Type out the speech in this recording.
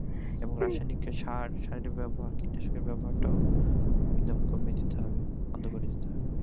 এবং রাসায়নিক যে সার, সারের ব্যাবহার কীটনাশকের ব্যাবহার টাও একদম কমিয়ে দিতে হবে বন্ধ করে দিতে হবে